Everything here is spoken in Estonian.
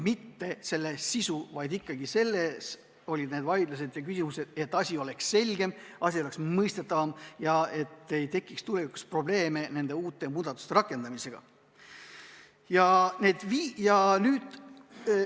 Me ei vaielnud sisu üle, vaid esitasime küsimusi, et asi oleks selgem, et asi oleks mõistetavam ja et ei tekiks probleeme, kui need muudatused on rakendatud.